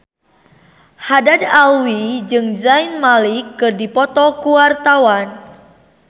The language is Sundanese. Haddad Alwi jeung Zayn Malik keur dipoto ku wartawan